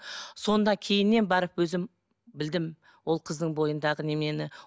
сонда кейіннен барып өзім білдім ол қыздың бойындағы неменені